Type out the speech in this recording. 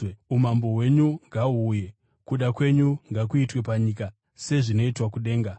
umambo hwenyu ngahuuye, kuda kwenyu ngakuitwe panyika sezvinoitwa kudenga.